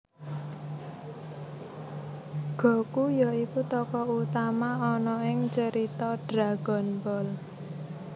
Goku ya iku tokoh utama ana ing carita Dragon Ball